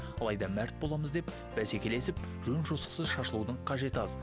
алайда мәрт боламыз деп бәсекелесіп жөн жосықсыз шашылудың қажеті аз